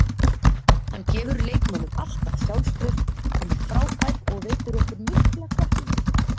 Hann gefur leikmönnum alltaf sjálfstraust, hann er frábær og veitir okkur mikla hvatningu.